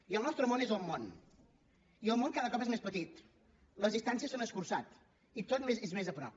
i el nostre món és el món i el món cada cop és més petit les distàncies s’han escurçat i tot és més a prop